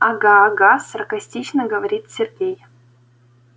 ага ага саркастично говорит сергей